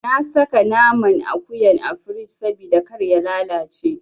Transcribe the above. Na saka naman akuyan a firij sabida kar ya lalace.